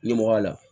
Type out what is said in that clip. Ɲɛmɔgɔya la